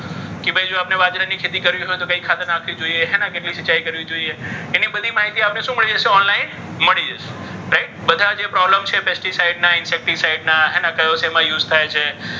જો ભાઈ આપણે બાજરી ની ખેતી કરવી હોય. તો કયું ખાતર નાખી શકો. હેને કેટલી સીંચાઈ કરવી જોઈએ? એની બધી માહિતી આપણને શું મળી જશે? online મળી જશે. right ધા જે problem છે. pesticide ના અને કહ્યું શેમાં use થાય છે?